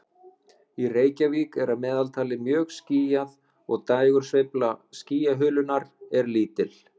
Í Reykjavík er að meðaltali mjög skýjað og dægursveifla skýjahulunnar er lítil.